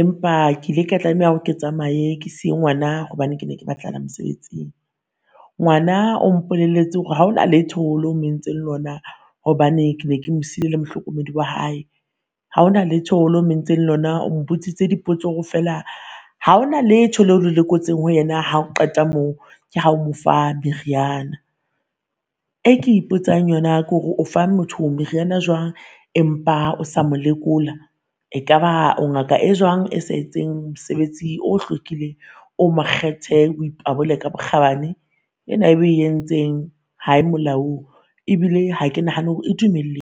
Empa ke ile ka tlameha hore ke tsamaye ke siye ngwana hobane ke ne ke batlahala mosebetsing. Ngwana o mpolelletse hore haona letho le o mo entseng lona, hobane ke be ke mo sile le mohlokomedi wa hae. Haona letho lo o mo entseng lona o mo botsitse dipotso ho feela haona letho leo o le lekotseng ho yena. Ha o qeta mo ke ha o mo fa meriana. E ke ipotsang yona kore o fa motho meriana jwang, empa o sa mo lekola. Ekaba o ngaka e jwang e sa etseng mosebetsi o hlokileng o mokgethe o e pabole ka bokgabane? Ena o e entseng ha e molaong, ebile ha ke nahana hore e